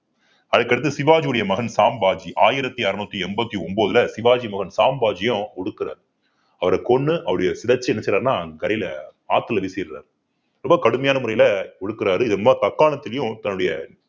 அதுக்கு அடுத்து சிவாஜியுடைய மகன் சாம் பாஜி ஆயிரத்தி அறுநூத்தி எண்பத்தி ஒன்பதுல சிவாஜி மகன் சாம் பாஜியும் ஒடுக்குறாரு அவரை கொன்னு சிதைச்சு என்ன செய்யறாருன்னா ஆத்தில வீசிடுறாரு ரொம்ப கடுமையான முறையில ஒடுக்கறாரு திரும்ப தக்காணத்தலையும் தன்னுடைய